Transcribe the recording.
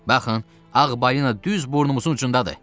Baxın, ağ balina düz burnumuzun ucundadır!